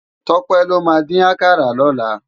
Tope ló má din àkàrá lòlá